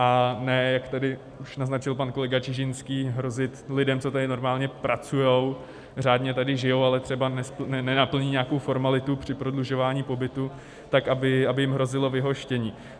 A ne, jak tady už naznačil pan kolega Čižinský, hrozit lidem, co tady normálně pracují, řádně tady žijí, ale třeba nenaplní nějakou formalitu při prodlužování pobytu, tak aby jim hrozilo vyhoštění.